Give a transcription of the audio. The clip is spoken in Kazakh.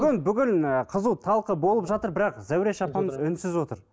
бүгін ііі қызу талқы болып жатыр бірақ зәуреш апам үнсіз отыр